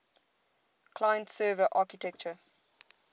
client server architecture